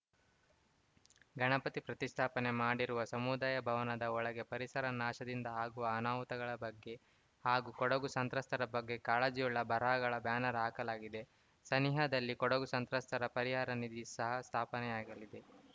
ಗಣಪತಿ ಪ್ರತಿಷ್ಠಾಪನೆ ಮಾಡಿರುವ ಸಮುದಾಯ ಭವನದ ಒಳಗೆ ಪರಿಸರ ನಾಶದಿಂದ ಆಗುವ ಆನಾಹುತಗಳ ಬಗ್ಗೆ ಹಾಗೂ ಕೊಡಗು ಸಂತ್ರಸ್ತರ ಬಗ್ಗೆ ಕಾಳಜಿಯುಳ್ಳ ಬರಹಗಳ ಬ್ಯಾನರ್‌ ಹಾಕಲಾಗಿದೆ ಸನಿಹದಲ್ಲೇ ಕೊಡಗು ಸಂತ್ರಸ್ತರ ಪರಿಹಾರ ನಿಧಿ ಸಹ ಸ್ಥಾಪನೆಯಾಗಲಿದೆ